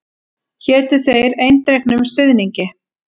Hétu þér eindregnum stuðningi.